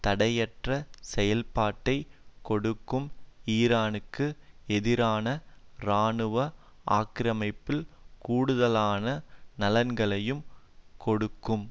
தடையற்ற செயல்பாட்டை கொடுக்கும் ஈரானுக்கு எதிரான இராணுவ ஆக்கிரமிப்பில் கூடுதலான நலன்களையும் கொடுக்கும்